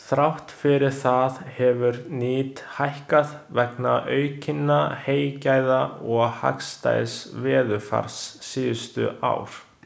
Þrátt fyrir það hefur nyt hækkað vegna aukinna heygæða og hagstæðs veðurfars síðustu ár.